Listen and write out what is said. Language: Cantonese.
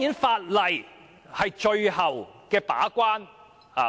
法例是最後一關。